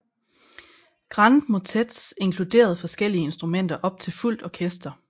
Grand motets inkluderede forskellige instrumenter op til fuldt orkester